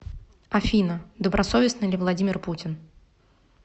афина добросовестный ли владимир путин